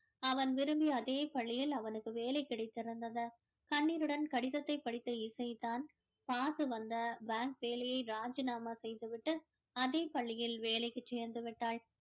அவன் விரும்பிய அதே பள்ளியில் அவனுக்கு வேலை கிடைத்திருந்தது கண்ணீருடன் கடிதத்தை படித்த இசை தான் காசு வந்த bank வேலையை ராஜினாமா செய்து விட்டு அதே பள்ளியில் வேலைக்கு சேர்ந்து விட்டாள்